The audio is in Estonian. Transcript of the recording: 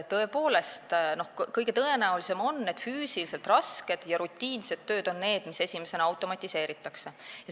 Tõepoolest, kõige tõenäolisem on, et füüsiliselt rasked ja rutiinsed tööd automatiseeritakse esimesena.